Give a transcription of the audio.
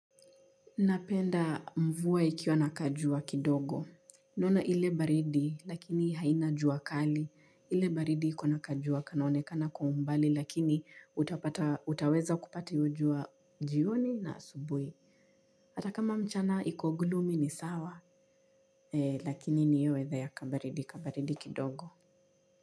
Napenda mvua ikiwa na kajua kidogo. Naona ile baridi lakini haina jua kali. Ile baridi iko na kajua kanaonekana kwa umbali lakini utapata, utaweza kupata hiyo jua jioni na asubuhi. Hata kama mchana iko gloomy, ni sawa lakini ni hiyo weather ya kabaridi, kabaridi kidogo.